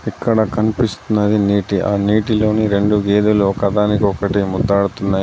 ఇక్కడ కనిపిస్తున్నది నీటి. ఆ నీటిలోని రెండు గేదెలు ఒకదానికి ఒక్కటి ముద్దాడుతున్నాయి.